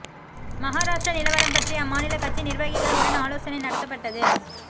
மகாராஷ்டிர நிலவரம் பற்றி அம்மாநில கட்சி நிர்வகிகள் உடன் ஆலோசனை நடத்தப்பட்டது